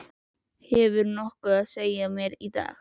Hefurðu nokkuð að segja mér í dag?